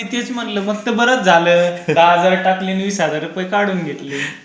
तेच म्हणलं. मग त बरच झालं दहा हजार टाकले आन वीस हजार रुपये काढून घेतले